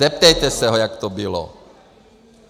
Zeptejte se ho, jak to bylo.